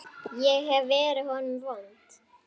Ég hef verið honum vond.